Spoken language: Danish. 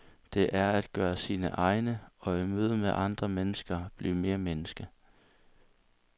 Det er at gøre sine egne og i mødet med andre mennesker blive mere menneske.